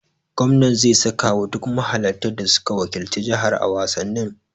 Gwamnan zai saka wa duk mahalarta da suka wakilci jihar a wasannin.